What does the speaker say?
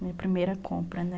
Minha primeira compra, né?